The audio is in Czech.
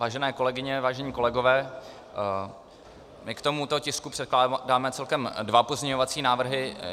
Vážené kolegyně, vážení kolegové, my k tomuto tisku předkládáme celkem dva pozměňovací návrhy.